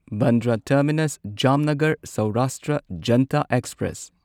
Bandra terminus Jamnagar Saurashtra Janta express